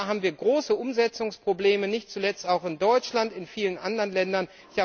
Da haben wir große Umsetzungsprobleme, nicht zuletzt in Deutschland, aber auch in vielen anderen Ländern.